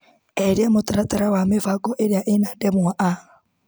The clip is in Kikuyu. Eheria mũtaratara wa mĩbango ĩrĩa ĩna ndemwa a.